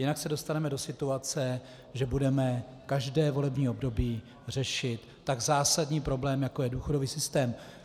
Jinak se dostaneme do situace, že budeme každé volební období řešit tak zásadní problém, jako je důchodový systém.